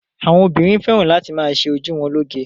Àwọn obìnrin fẹ́ràn láti ma ṣe ojú wọn lóge.